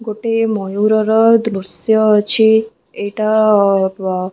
ଗୋଟିଏ ମୟର ର ଦୃଶ୍ୟ ଅଛି ଏଇଟା --